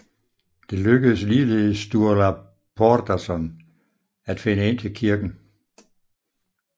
Det lykkedes ligeledes Sturla Þórðarsson at finde ind til kirken